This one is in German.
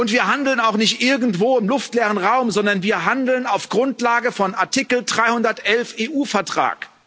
Wir handeln auch nicht irgendwo im luftleeren Raum, sondern wir handeln auf Grundlage von Artikel 311 EU Vertrag.